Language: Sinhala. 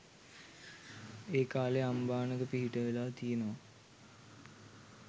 ඒ කාලේ අම්බානක පිහිට වෙලා තියනවා.